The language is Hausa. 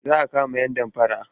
Za a kama yan damfara.